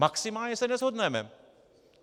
Maximálně se neshodneme.